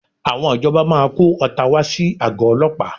Àwọn ìjọba máa kó ọta wá sí àgọ́ ọlọ́pàá